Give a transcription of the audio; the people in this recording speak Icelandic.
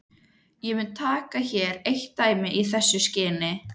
Ég mun taka hér eitt dæmi í þessu skyni.